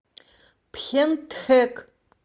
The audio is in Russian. пхентхэк